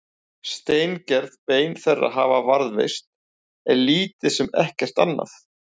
Steingerð bein þeirra hafa varðveist en lítið sem ekkert annað.